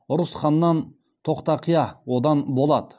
ұрыс ханнан тоқтақия одан болат